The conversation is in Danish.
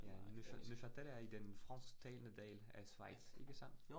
Ja, Neuchâtel er i den fransktalende del af Schweiz, ikke sandt?